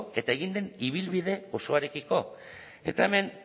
eta egin den ibilbide osoarekiko eta hemen